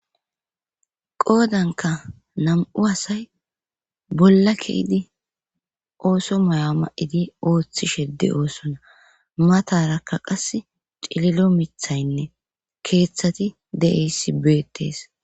qoodanka nam'u asay bolla keidi ooso maya ma'idi ooththi shedde oosona matarakka qas cililo mithaynne keeththati de'iyassi beettees